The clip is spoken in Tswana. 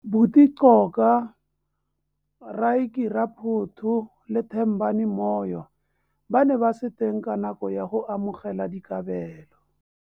Buti Coka, Rykie Raphoto le Thembani Moyo ba ne ba se teng ka nako ya go amogelwa dikabelo.